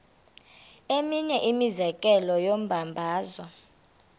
eminye imizekelo yombabazo